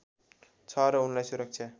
छ र उनलाई सुरक्षा